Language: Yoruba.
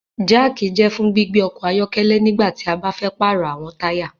Jack jẹ fún gbígbé ọkọ ayọkẹlẹ nígbàtí a ba fẹ parọ awọn taya